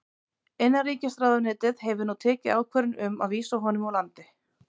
Innanríkisráðuneytið hefur nú tekið ákvörðun um að vísa honum úr landi.